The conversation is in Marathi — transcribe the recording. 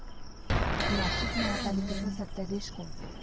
नाशिक महापालिकेचा सत्ताधीश कोण?